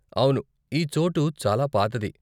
అవును ఈ చోటు చాలా పాతది.